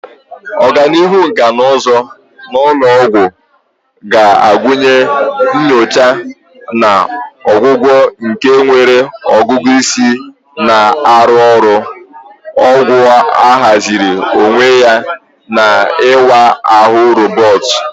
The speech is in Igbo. Ọganihu nkà na ụzụ n'ụlọ ọgwụ ga-agụnye nyocha na ọgwụgwọ nke nwere ọgụgụ isi na-arụ ọrụ, ọgwụ ahaziri onwe ya, na ịwa ahụ roboti.